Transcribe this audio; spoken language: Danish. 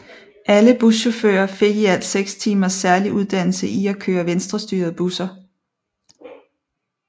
Alle buschauffører fik i alt seks timers særlig uddannelse i at køre venstrestyrede busser